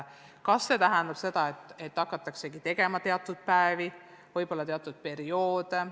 Kas see tähendada seda, et hakatakse tegema teatud päevi, võib-olla teatud perioode veebikeskkonnas?